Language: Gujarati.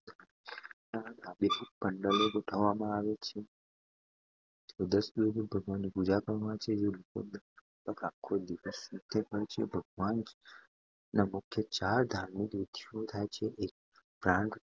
આબેહૂબ પંડાલો ગોઠવવામાં આવે છે અને દસ દિવસ સુધી ભગવાનની પૂજા કરવામાં આવે છે જેમાં લોકો લગભગ આખો દિવસ નૃત્ય કરે છે. ભગવાન ના મુખ્ય ચાર ધાર્મિક વિધિઓ થાય છે